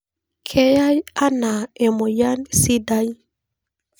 Keyae ana emoyian sidai.